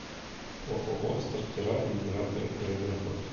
ооо стартера и генераторы время работы